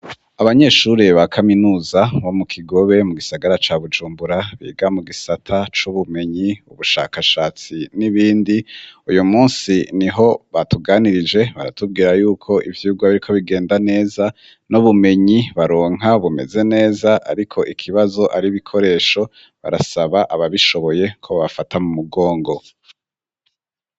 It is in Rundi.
Abanyeshuri ba kaminuza bo mu Kigobe mu gisagara ca Bujumbura biga mu gisata c'ubumenyi ,ubushakashatsi n'ibindi ,uyu munsi niho batuganirije baratubwira yuko ivyigwa biriko bigenda neza n'ubumenyi baronka bumeze neza ariko ikibazo ar'ibikoresho barasaba ababishoboye ko babafata mu mugongo.